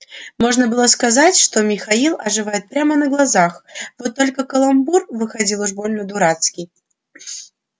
можно было сказать что михаил оживает прямо на глазах вот только каламбур выходил уж больно дурацкий